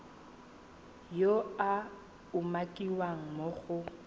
yo a umakiwang mo go